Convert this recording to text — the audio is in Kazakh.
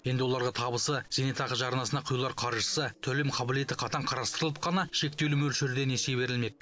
енді оларға табысы зейнетақы жарнасына құйылар қаржысы төлем қабілеті қатаң қарастырылып қана шектеулі мөлшерде несие берілмек